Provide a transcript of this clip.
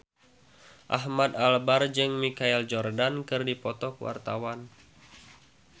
Ahmad Albar jeung Michael Jordan keur dipoto ku wartawan